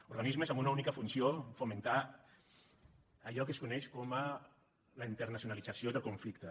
organismes amb una única funció fomentar allò que es coneix com la internacionalització del conflicte